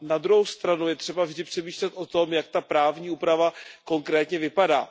Na druhou stranu je třeba vždy přemýšlet o tom, jak ta právní úprava konkrétně vypadá.